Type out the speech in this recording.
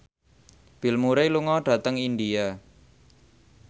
Bill Murray lunga dhateng India